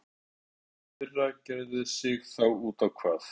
Heimir: Árið í fyrra gerði sig þá út á hvað?